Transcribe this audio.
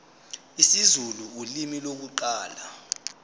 isizulu ulimi lokuqala